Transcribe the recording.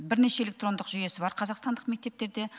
бірнеше электрондық жүйесі бар қазақстандық мектептерде